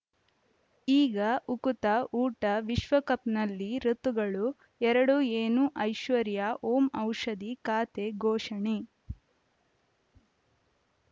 ಈಗ ಉಕುತ ಊಟ ವಿಶ್ವಕಪ್‌ನಲ್ಲಿ ಋತುಗಳು ಎರಡು ಏನು ಐಶ್ವರ್ಯಾ ಓಂ ಔಷಧಿ ಖಾತೆ ಘೋಷಣೆ